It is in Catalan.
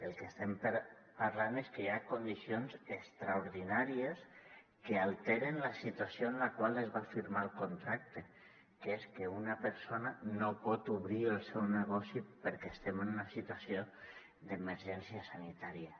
el que estem parlant és que hi ha condicions extraordinàries que alteren la situació en la qual es va firmar el contracte que és que una persona no pot obrir el seu negoci perquè estem en una situació d’emergència sanitària